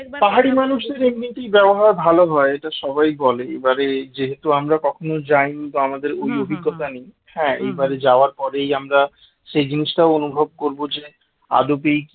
এমনিতেই ব্যবহার ভালো হয় এটা সবাই বলে এবারে যেহেতু আমরা কখনো যাইনি আমাদের ওই অভিজ্ঞতা নেই হ্যাঁ এইবার যাওয়ার পরেই আমরা সেই জিনিসটা অনুভব করব যে আদবেই